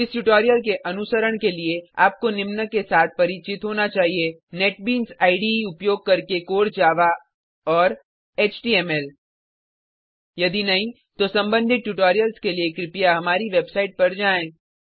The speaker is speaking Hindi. इस ट्यूटोरियल के अनुसरण के लिए आपको निम्न के साथ परिचित होना चाहिए नेटबीन्स इडे उपयोग करके कोर जावा और एचटीएमएल यदि नहीं तो सम्बंधित ट्यूटोरियल्स के लिए कृपया हमारी वेबसाइट पर जाएँ